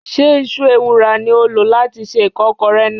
Ṣé Iṣu ewùrà ni ó lò láti se ìkọ́kọrẹ náà?